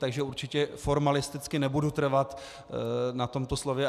Takže určitě formalisticky nebudu trvat na tomto slově.